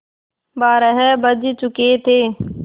बारह बज चुके थे